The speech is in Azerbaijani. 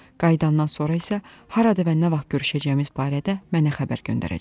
Qayıdandan sonra isə harada və nə vaxt görüşəcəyimiz barədə mənə xəbər göndərəcək.